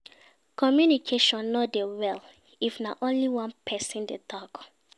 communication no de go well if na only one person de talk